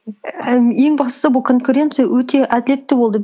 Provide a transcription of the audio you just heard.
і ім ең бастысы бұл конкуренция өте әділетті болды